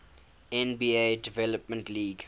nba development league